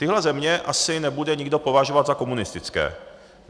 Tyhle země asi nebude nikdo považovat za komunistické.